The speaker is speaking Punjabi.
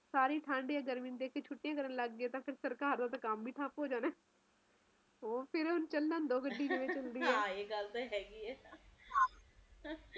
ਸਾਰੇ ਠੰਡ ਨੂੰ ਏਦਾਂ ਵੇਖ ਕੀ ਛੁੱਟਿਆ ਕਰਨ ਲੱਗ ਪਏ ਤਾ ਸਰਕਾਰ ਦਾ ਤਾ ਕੰਮ ਹੀ ਥਾਪ ਹੋ ਜੁ so ਫਿਰ ਚੱਲਣ ਦੋ ਗੱਡੀ ਕਿਵੇਂ ਚਲਦੀ ਐ ਹਾ ਇਹ ਗੱਲ ਤਾ ਹਹਿ ਐ